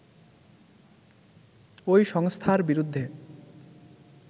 ওই সংস্থার বিরুদ্ধে